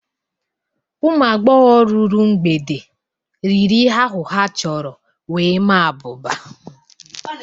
Ụmụ agbọghọ ruru mgbede riri ihe ahụ ha chọrọ wee maa abụba.